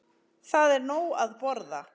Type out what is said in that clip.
Það er nóg að borða.